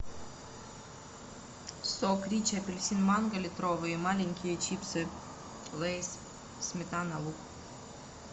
сок ричи апельсин манго литровый и маленькие чипсы лейс сметана лук